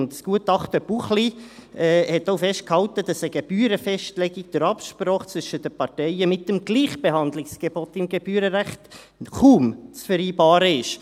Und das Gutachten Buchli hat auch festgehalten, dass eine Gebührenfestlegung durch Absprache zwischen den Parteien mit dem Gleichbehandlungsgebot im Gebührenrecht kaum zu vereinbaren ist.